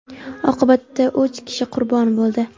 Oqibatda uch kishi qurbon bo‘ldi.